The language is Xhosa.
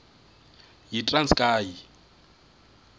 yitranskayi